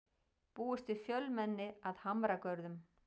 Búist við fjölmenni að Hamragörðum